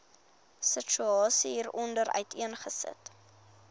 situasie hieronder uiteengesit